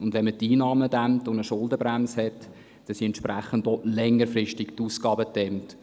Und wenn man die Einnahmen dämmt und eine Schuldenbremse hat, so sind die Ausgaben entsprechend längerfristig gedämmt.